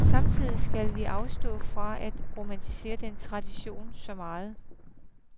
Samtidig skal vi afstå fra at romantisere den tradition så meget.